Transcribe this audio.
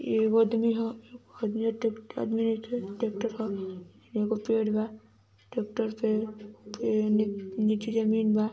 ए गो आदमी हा आदमी आ आदमी आ ट्रेक्टर हा एगो पेड़ बा ट्रेक्टर पे पेड़ नीचे जमीन बा।